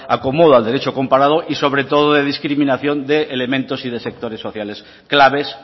acomodo al derecho comparado y sobre todo de discriminación de elementos y de sectores sociales claves